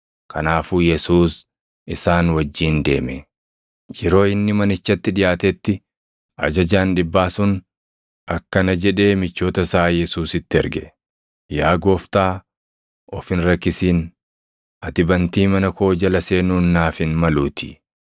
Kanaafuu Yesuus isaan wajjin deeme. Yeroo inni manichatti dhiʼaatetti ajajaan dhibbaa sun akkana jedhee michoota isaa Yesuusitti erge; “Yaa gooftaa of hin rakkisin; ati bantii mana koo jala seenuun naaf hin maluutii.